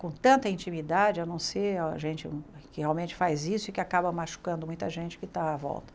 com tanta intimidade, a não ser a gente que realmente faz isso e que acaba machucando muita gente que está à volta.